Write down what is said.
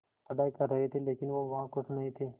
पढ़ाई कर रहे थे लेकिन वो वहां ख़ुश नहीं थे